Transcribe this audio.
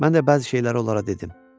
Mən də bəzi şeyləri onlara dedim.